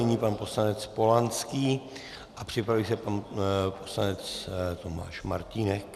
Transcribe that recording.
Nyní pan poslanec Polanský a připraví se pan poslanec Tomáš Martínek.